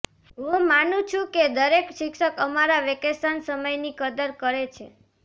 હું માનું છું કે દરેક શિક્ષક અમારા વેકેશન સમયની કદર કરે છે